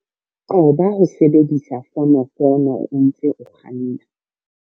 Qoba ho sebedisa fonofono o ntse o kganna.